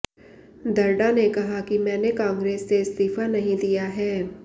दर्डा ने कहा कि मैंने कांग्रेस से इस्तीफा नहीं दिया है